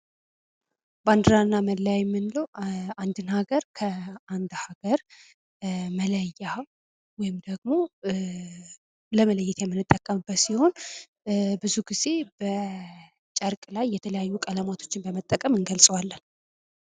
ባንድራና መለያ የምንለው አንድን ሀገር ከአንድ ሀገር መለያ ወይም ደግሞ ለመለየት የምጠቀምበት ሲሆን ብዙ ጊዜ በጨርቅ ላይ የተለያዩ ቀለማቶችን በመጠቀም እንገልፀዋለን።